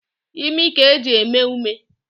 Imi ka e ji eme ume.